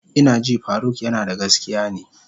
Ina ji faruk yanada gaskiya ne.